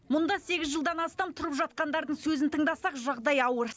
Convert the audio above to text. мұнда сегіз жылдан астам тұрып жатқандардың сөзін тыңдасақ жағдай ауыр